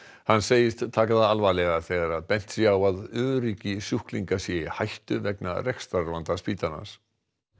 hann segist taka það alvarlega þegar bent sé á að öryggi sjúklinga sé í hættu vegna rekstrarvanda spítalans